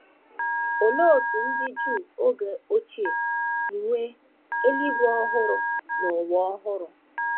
Olee otú ndị Juu oge ochie si nwee “ eluigwe ọhụrụ na ụwa ọhụrụ ”?